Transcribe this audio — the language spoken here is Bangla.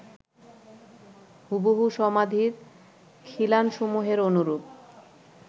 হুবহু সমাধির খিলানসমূহের অনুরূপ